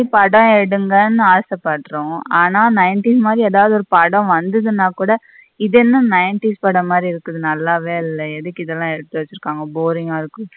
படம் எடுங்கன்னு ஆச படுறோம் ஆனா ninety எதாவது ஒரு படம் வந்ததுன கூட இது என்ன ninety ஸ் படம் மாதிரி இருக்குது நல்லாவே இல்ல எதுக்கு இதெல்லாம் எடுத்து வச்சிருகாங்க boring இருக்குனு.